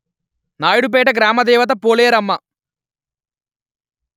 నాయుడుపేట గ్రామ దేవత పోలేరమ్మ